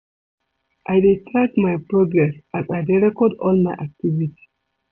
I dey track my progress as I dey record all my activities.